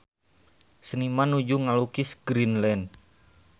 Seniman nuju ngalukis Greenland